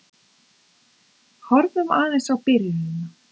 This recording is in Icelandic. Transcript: Horfum aðeins á byrjunina.